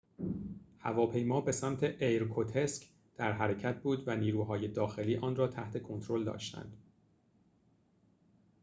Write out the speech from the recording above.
هواپیما به سمت ایرکوتسک در حرکت بود و نیروهای داخلی آن را تحت کنترل داشتند